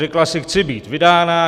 Řekla si: Chci být vydána.